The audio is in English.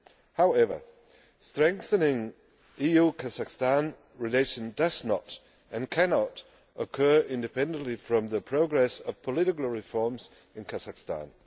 However, strengthening EU Kazakhstan relations does not and cannot occur independently from the progress of political reforms in Kazakhstan.